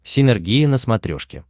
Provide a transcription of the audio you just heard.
синергия на смотрешке